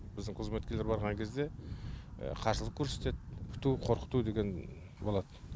біздің қызметкерлер барған кезде қарсылық көрсетеді үркіту қорқыту деген болады